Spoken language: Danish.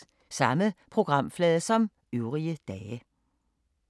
Samme programflade som øvrige dage